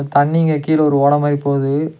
தண்ணிங்க கீழ ஒரு ஓட மாரி போது.